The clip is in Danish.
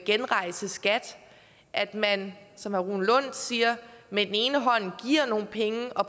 genrejse skat at man som herre rune lund siger med den ene hånd giver nogle penge og